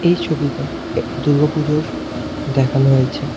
এই ছবিতে এক দূর্গোপুজোর দেখানো হয়েছে।